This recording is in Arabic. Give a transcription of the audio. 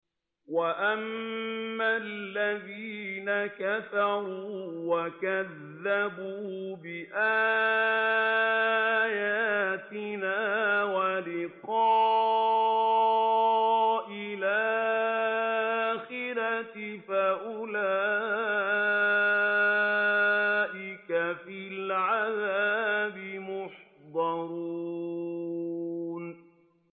وَأَمَّا الَّذِينَ كَفَرُوا وَكَذَّبُوا بِآيَاتِنَا وَلِقَاءِ الْآخِرَةِ فَأُولَٰئِكَ فِي الْعَذَابِ مُحْضَرُونَ